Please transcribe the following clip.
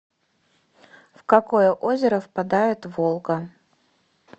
в какое озеро впадает волга